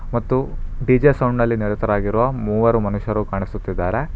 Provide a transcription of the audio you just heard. ಮತ್ತು DJ sound ನಲ್ಲಿ ನಿರತರಾಗಿರೋ ಮೂವರು ಮನುಷ್ಯರು ಕಾಣುಸುತ್ತಿದ್ದಾರೆ.